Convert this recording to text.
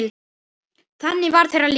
Þannig var þeirra líf.